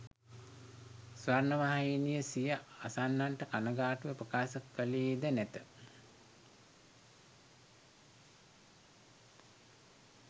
ස්වර්ණවාහිනිය සිය අසන්නන්ට කණගාටුව ප්‍රකාශ කළේ ද නැත.